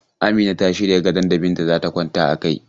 Amina ta shirya gadon da Binta za ta kwana a kai.